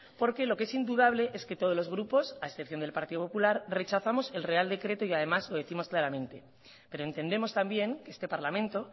porque lo que es indudable es que todos los grupos a excepción del partido popular rechazamos el real decreto y además lo décimos claramente pero entendemos también que este parlamento